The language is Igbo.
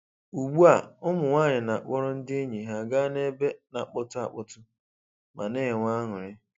Ugbua, ụmụnwanyị na-akpọrọ ndị enyi ha ga n'ebe na-akpọtụ akpọtụ, ma na-enwe anụrị.